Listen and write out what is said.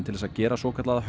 til þess að gera svokallaða